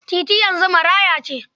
Titi yanzu maraya ce